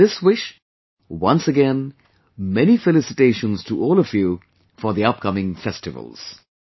With this wish, once again many felicitations to all of you for the upcoming festivals